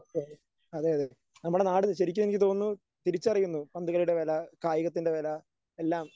അതെ അതെ നമ്മുടെ നാട് ശരിക്കും എനിക്ക് തോന്നുന്നു തിരിച്ചറിയുന്നു പന്തുകളിയുടെ വില കായികത്തിൻറെ വില എല്ലാം.